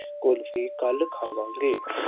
ਕੁਲਫੀ ਕੱਲ੍ਹ ਖਾਵਾਂਗੇ।